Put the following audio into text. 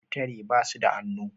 kutare basuda hannu